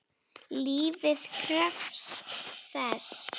Lífið krefst þess.